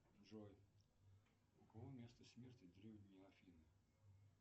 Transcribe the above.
джой у кого место смерти древние афины